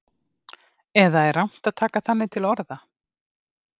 Eða er rangt að taka þannig til orða?